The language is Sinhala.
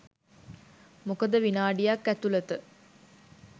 මොකද විනාඩියක් ඇතුලත